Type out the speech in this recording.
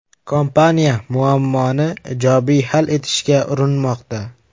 Kompaniya muammoni ijobiy hal etishga urinmoqda.